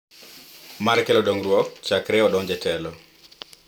Mar kelo dongruok chakre odonj e telo